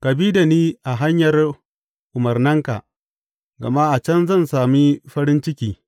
Ka bi da ni a hanyar umarnanka, gama a can zan sami farin ciki.